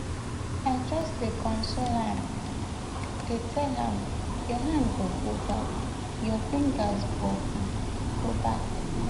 i just dey console am um dey tell am your hand go grow back your fingers go um grow back